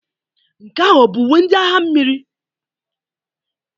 Nke ahụ ọ bụ uwe ndị agha mmiri?